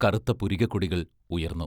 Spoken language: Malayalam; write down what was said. കറുത്ത പുരികക്കൊടികൾ ഉയർന്നു.